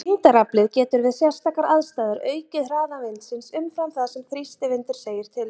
Þyngdaraflið getur við sérstakar aðstæður aukið hraða vindsins umfram það sem þrýstivindur segir til um.